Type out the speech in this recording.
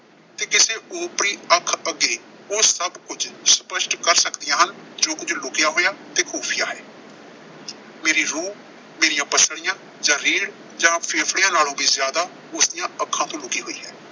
ਤੇ ਕਿਸੇ ਓਪਰੀ ਅੱਖ ਅੱਗੇ ਉਹ ਸਭ ਸਪੱਸ਼ਟ ਕਰ ਸਕਦੀਆਂ ਹਨ, ਜੋ ਕੁਝ ਲੁਕਿਆ ਹੋਇਆ ਤੇ ਖੁਫੀਆ ਹੈ। ਮੇਰੀ ਰੂਹ, ਮੇਰੀਆਂ ਪੱਸਲੀਆਂ ਜਾਂ ਰੀੜ੍ਹ ਜਾਂ ਫੇਫੜਿਆਂ ਨਾਲੋਂ ਵੀ ਜ਼ਿਆਦਾ ਉਸਦੀਆਂ ਅੱਖਾਂ ਤੋਂ ਲੁਕੀ ਹੋਈ ਹੈ।